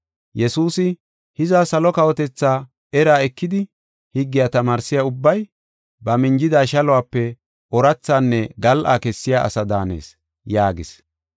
Yesuusi, “Hiza, salo kawotethaa eraa ekidi higgiya tamaarsiya ubbay, ba minjida shaluwape oorathaanne gal7a kessiya ase daanees” yaagis.